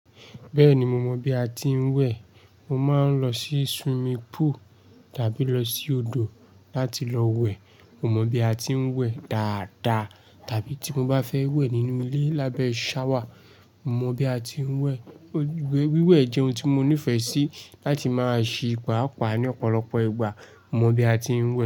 Bẹ́ẹ̀ni, mo mọ bí a ti ń wẹ̀. Mo máa ń lọ sí swimming pool tàbí lọ sí odò láti lọ wẹ̀. Mo mọ bí a ti ń wẹ̀ dáadáa. Tàbí tí mo bá fẹ́ wẹ̀ nínú ilé lábẹ́ shower, mo mọ bí a ti ń wẹ̀. Wíwẹ̀ jẹ́ ohun tí mo nífẹ̀ẹ́ sí láti máa ṣe pàaápàá ní ọ̀pọ̀lọpọ̀ ìgbà. Mo mọ bí a ti ń wẹ̀